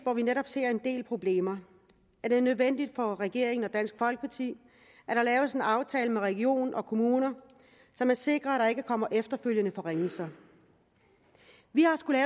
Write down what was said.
hvor vi netop ser en del problemer er det nødvendigt for regeringen og dansk folkeparti at der laves en aftale med region og kommuner så man sikrer at der ikke kommer efterfølgende forringelser vi har skullet